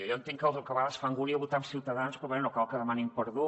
jo entenc que a vegades fa angúnia votar amb ciutadans però bé no cal que demanin perdó